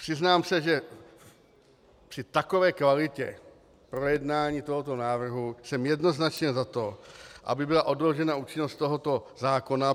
Přiznám se, že při takové kvalitě projednání tohoto návrhu jsem jednoznačně za to, aby byla odložena účinnost tohoto zákona.